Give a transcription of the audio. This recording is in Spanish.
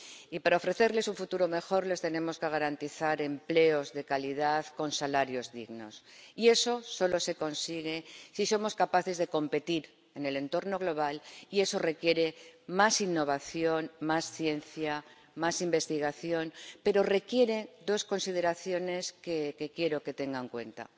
Y, para ofrecerles un futuro mejor, les tenemos que garantizar empleos de calidad con salarios dignos, y eso solo se consigue si somos capaces de competir en el entorno global, y eso requiere más innovación, más ciencia, más investigación, pero requiere también dos consideraciones que quiero que tenga en cuenta.